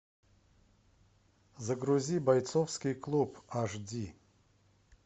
загрузи бойцовский клуб аш ди